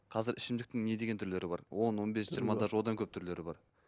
қазір ішімдіктің не деген түрлері бар он он бес жиырма даже одан көп түрлері бар